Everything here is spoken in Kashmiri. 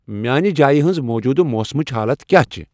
میانِہ جایِہ ہٕنز موجودٕ موسمٔچ حالت کیا چِھ؟